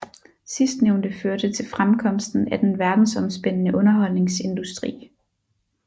Sidstnævnte førte til fremkomsten af den verdensomspændende underholdningsindustri